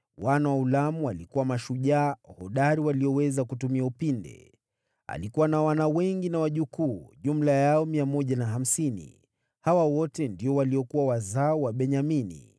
Wana wa Ulamu walikuwa mashujaa hodari walioweza kutumia upinde. Alikuwa na wana wengi na wajukuu, jumla yao 150. Hawa wote ndio walikuwa wazao wa Benyamini.